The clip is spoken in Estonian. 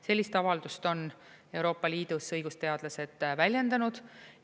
Sellist avaldust on Euroopa Liidus õigusteadlased väljendanud.